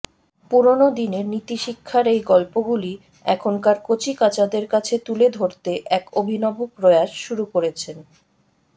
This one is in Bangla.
পুরনো দিনের নীতিশিক্ষার এই গল্পগুলি এখনকার কচিকাঁচাদের কাছে তুলে ধরতে এক অভিনব প্রয়াস শুরু করেছেন